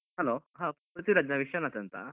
Hello ಹಾ ಪ್ರಿಥ್ವಿರಾಜ್ ನಾನು ವಿಶ್ವನಾಥ್ ಅಂತ.